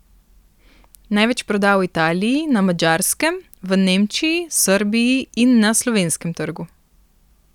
Največ proda v Italiji, na Madžarskem, v Nemčiji, Srbiji in na slovenskem trgu.